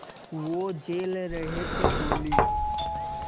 वो झेल रहे थे गोली